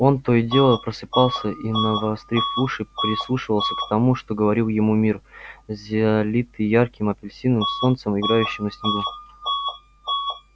он то и дело просыпался и навострив уши прислушивался к тому что говорил ему мир залитый ярким апрельским солнцем играющим на снегу